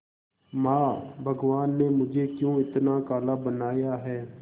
मां भगवान ने मुझे क्यों इतना काला बनाया है